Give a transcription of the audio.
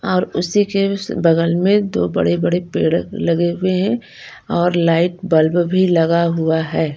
और उसी के बगल में दो बड़े-बड़े पेड़ लगे हुए हैं और लाइट बल्ब भी लगा हुआ है।